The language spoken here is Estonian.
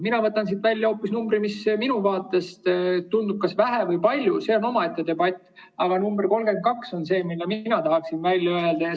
Mina võtan siit välja hoopis teise numbri, kas seda on vähe või palju, see on omaette debatt, aga number 32 on see, mida mina tahaksin välja öelda.